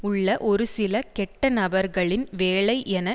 உள்ள ஒரு சில கெட்ட நபர்களின் வேலை என